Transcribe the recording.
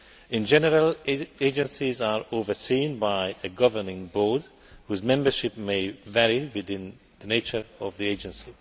In general, agencies are overseen by a governing board whose membership may vary according to the nature of the agency.